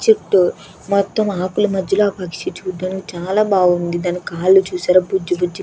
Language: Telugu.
చుట్టూ మొత్తం ఆకుల మధ్యలో ఆ పక్షి చూడ్డానికి చాలా బాగుంది. దాని కాళ్ళు చూసారా బుజ్జి బుజ్జి --